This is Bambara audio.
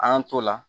An y'an t'o la